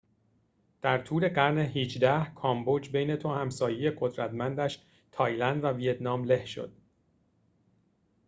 در طول قرن ۱۸ کامبوج بین دو همسایه قدرتمندش تایلند و ویتنام له شد